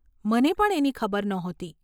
મને પણ એની ખબર નહોતી.